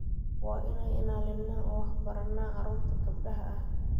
Waa inaan ilaalinaa oo wax baranaa caruurta gabdhaha ah.